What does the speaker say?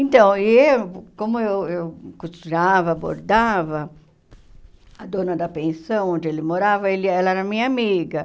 Então, eu como eu eu costurava, bordava, a dona da pensão onde ele morava, ele é ela era minha amiga.